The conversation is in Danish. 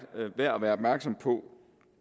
værd at være opmærksom på